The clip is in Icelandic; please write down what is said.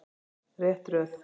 Rétt röð.